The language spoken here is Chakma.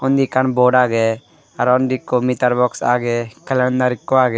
undi ekkan bod agey arow undi ikko mitar boks agey kelendar ikko agey.